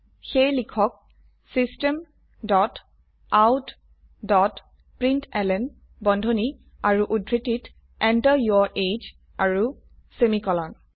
সেয়ে লিখক system dot out dot println বন্ধনী আৰু উদ্ধৃতিত Enter যৌৰ এজিই আৰু সেমিকোলন